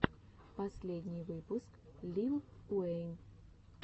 последний выпуск лил уэйн